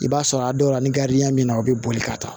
I b'a sɔrɔ a dɔw la ni ya min na o bɛ boli ka taa